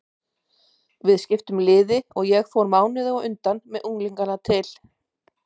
Við skiptum liði og ég fór mánuði á undan með unglingana til